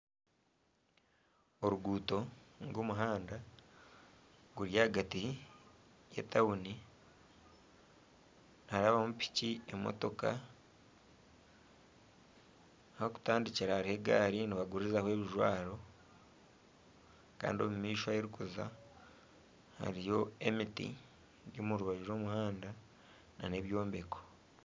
Oruguuto nari omuhanda guri ahagati y'etauni niharabamu piki emotoka ahu barikutandikira hariho egaari nibagurizaho ebijwaro kandi omu maisho ahu rurikuza hariyo emiti eri omu rubaju rw'omuhanda nana ebyombeko.